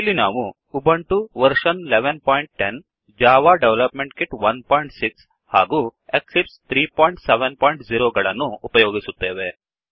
ಇಲ್ಲಿ ನಾವು Ubuntu version 1110 Ubuntu version ೧೧೧೦ Java development kit 16 Java development kit ೧೬ ಹಾಗೂ Eclipse 370 Eclipse ೩೭೦ ಗಳನ್ನು ಉಪಯೋಗಿಸುತ್ತೇವೆ